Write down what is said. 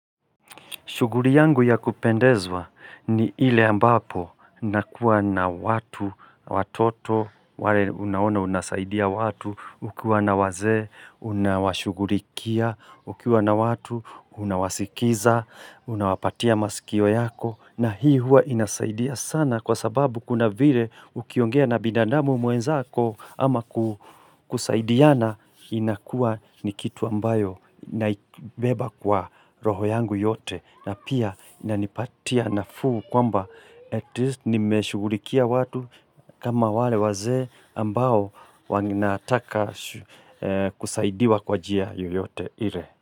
Shughuri yangu ya kupendezwa ni ile ambapo nakua na watu, watoto, wale unaona unasaidia watu, ukiwa na wazee, unawashughurikia, ukiwa na watu, unawasikiza, unawapatia masikio yako. Na hii huwa inasaidia sana kwa sababu kuna vire ukiongea na bidanamu mwenzako ama ku kusaidiana inakua ni kitu ambayo naibeba kwa roho yangu yote na pia inanipatia nafuu kwamba atleast nimeshugurikia watu kama wale wazee ambao wanataka kusaidia kwa njia yoyote ire.